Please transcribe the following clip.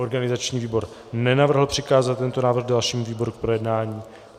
Organizační výbor nenavrhl přikázat tento návrh dalšímu výboru k projednání.